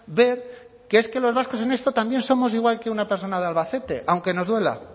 ver que es que los vascos en esto también somos igual que una persona de albacete aunque nos duela